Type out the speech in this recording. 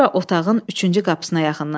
Sonra otağın üçüncü qapısına yaxınlaşır.